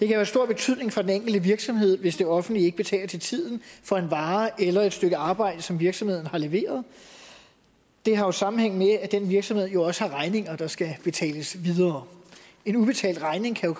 have stor betydning for den enkelte virksomhed hvis det offentlige ikke betaler til tiden for en vare eller et stykke arbejde som virksomheden har leveret det har sammenhæng med at den virksomhed jo også selv har regninger der skal betales en ubetalt regning kan